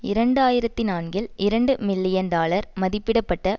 இரண்டு ஆயிரத்தி நான்கில் இரண்டு மில்லியன் டாலர் மதிப்பிட பட்ட